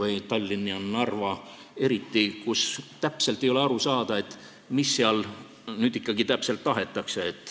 Eriti Tallinnas ja Narvas, kus täpselt ei ole aru saada, mida seal ikkagi täpselt tahetakse.